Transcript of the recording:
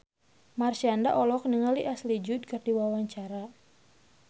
Marshanda olohok ningali Ashley Judd keur diwawancara